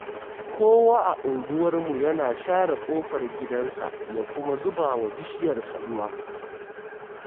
Kowa a unguwarmu yana share ƙofar gidansa ya kuma zuba wa bishiyarsa ruwa